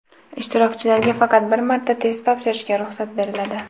Ishtirokchilarga faqat bir marta test topshirishga ruxsat beriladi.